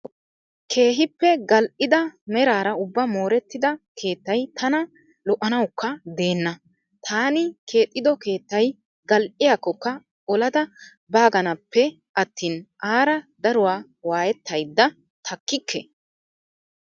Keehippe gal"ida meraara ubbaa moorettida keettayi tana lo"nawukka deenna. Taani keexxido keettayi gal"iyaakkokka olada baaganappe attin aara daruwaa waayettayidda takkikke.